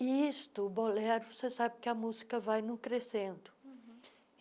E isto, o bolero, você sabe que a música vai não crescendo.